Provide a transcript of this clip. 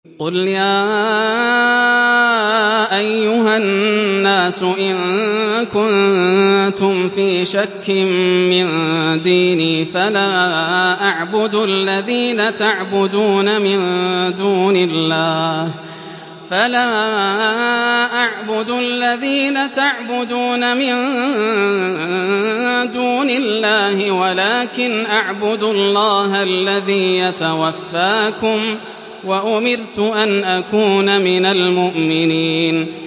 قُلْ يَا أَيُّهَا النَّاسُ إِن كُنتُمْ فِي شَكٍّ مِّن دِينِي فَلَا أَعْبُدُ الَّذِينَ تَعْبُدُونَ مِن دُونِ اللَّهِ وَلَٰكِنْ أَعْبُدُ اللَّهَ الَّذِي يَتَوَفَّاكُمْ ۖ وَأُمِرْتُ أَنْ أَكُونَ مِنَ الْمُؤْمِنِينَ